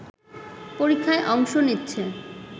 পরীক্ষায় অংশ নিচ্ছে